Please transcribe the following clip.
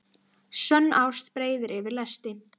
Sönn ást breiðir yfir lesti.